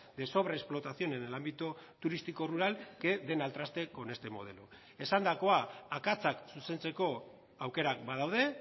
de sobrexplotación en el ámbito turístico rural que den al traste con este modelo esandakoa akatsak zuzentzeko aukerak badaude